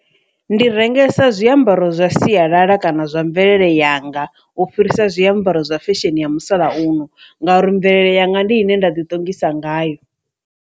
Ndi rengesa zwiambaro zwa sialala kana zwa mvelele yanga u fhirisa zwiambaro zwa fesheni ya musalauno ngauri mvelele yanga ndi ine nda ḓi ṱongisa ngayo.